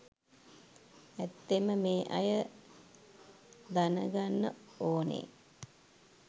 ඇත්තෙන්ම මේ අය දන ගන්න ඕනේ